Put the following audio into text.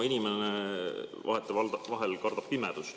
Inimene vahetevahel kardab pimedust.